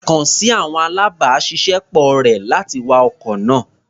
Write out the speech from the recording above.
Kàn sí àwọn alábàáṣiṣẹ́ pọ̀ rẹ̀, láti wa ọkọ̀ náà.